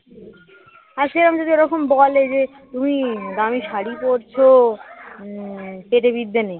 আজকে এরকম যদি ওরকম বলে যে তুমি দামি শাড়ি পড়ছো উম পেটে বিদ্যে নেই